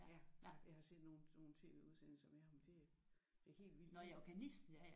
Jeg har set nogle sådan nogle tv-udsendelser med ham det det er helt vildt